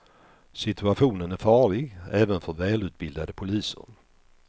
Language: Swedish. Situationen är farlig även för välutbildade poliser.